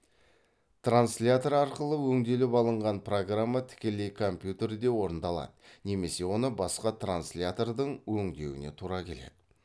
транслятор арқылы өңделіп алынған программа тікелей компьютерде орындалады немесе оны басқа транцлятордың өңдеуіне тура келеді